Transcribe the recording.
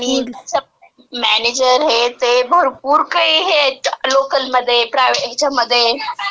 आणि मॅनेजर हे ते..भरपूर काही हे आहेत , लोकलमध्ये, प्रायव्हेटमध्ये.ह्याच्यामध्ये.